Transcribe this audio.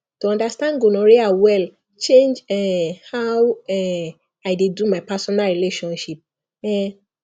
to understand gonorrhea well change um how um i dey do my personal relationship um